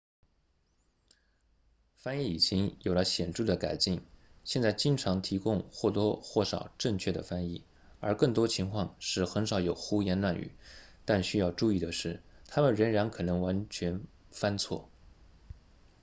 翻译引擎有了显著的改进现在经常提供或多或少正确的翻译而更多情况是很少有胡言乱语但需要注意的是他们仍然可能会完全翻错